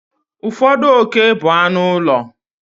Ụfọdụ oke bụ anụ ụlọ.